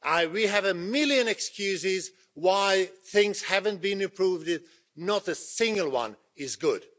We have a million excuses for why things haven't been improving and not a single one is good.